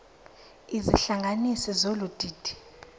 izihlanganisi zolu didi